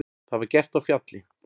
Það var gert á Fjalli.